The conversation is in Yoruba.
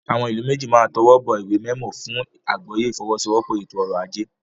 Àwọn ìlú méjì máa tọwọ́ bọ ìwé mẹmọ fún àgbọ́yé ìfọwọ́sowọ́pọ̀ ètò ọrọ̀-ajé.